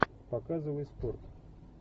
показывай спорт